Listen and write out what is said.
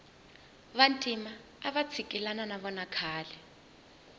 vantima avatsikilana navona khale